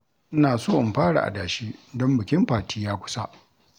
Ina so in fara adashi don bikin Fati ya kusa